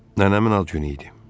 Nənəmin ad günü idi.